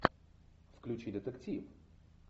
включи детектив